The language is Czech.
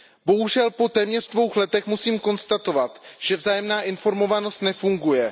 Bohužel po téměř dvou letech musím konstatovat, že vzájemná informovanost nefunguje.